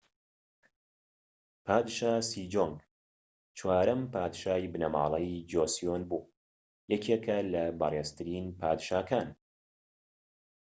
پادشا سیجۆنگ چوارەم پادشای بنەماڵەی جۆسیۆن بوو و یەکێکە لە بەڕێزترین پادشاکان